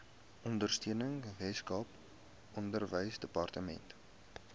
ondersteuning weskaap onderwysdepartement